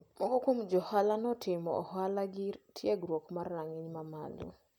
Moko kuom jo ohala notimo ohala gi tiegruok ma rang`iny mamalo.